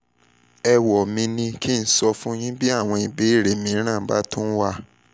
ẹ̀wọ́ mi ní kí n sọ̀ fún yín bí àwọn ìbéèrè mìíràn bá tún wà